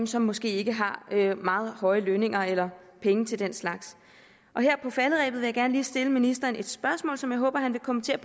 som måske ikke har meget høje lønninger eller penge til den slags her på falderebet vil jeg gerne lige stille ministeren et spørgsmål som jeg håber han vil kommentere